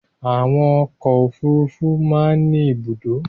Àwọn ọkọ̀ òfurufú máa ń ní ibùdó.